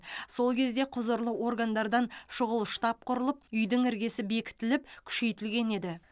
сол кезде құзырлы органдардан шұғыл штаб құрылып үйдің іргесі бекітіліп күшейтілген еді